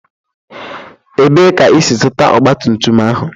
Ebee ka isiri zụta ọgbatumtum ahụ?